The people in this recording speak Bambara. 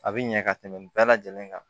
A bɛ ɲɛ ka tɛmɛ bɛɛ lajɛlen kan